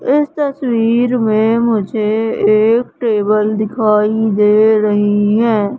इस तस्वीर में मुझे एक टेबल दिखाई दे रही है।